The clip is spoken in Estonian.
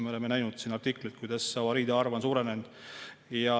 Me oleme näinud artiklit, kui palju avariide arv on seal suurenenud.